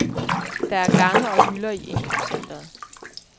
Der er gange og hylder i indkøbscentret.